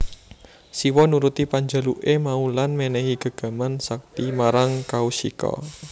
Siwa nuruti panjaluke mau lan menehi gegaman sakti marang Kaushika